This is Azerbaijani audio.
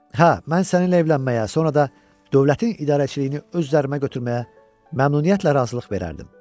Hə, mən səninlə evlənməyə, sonra da dövlətin idarəçiliyini öz üzərimə götürməyə məmnuniyyətlə razılıq verərdim.